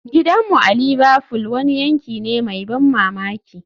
Gidanmu a Liverfool wani yanki ne mai ban mamaki